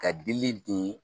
Ka dili don